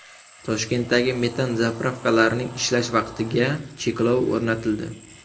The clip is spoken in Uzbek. Toshkentdagi metan zapravkalarning ishlash vaqtiga cheklov o‘rnatildi.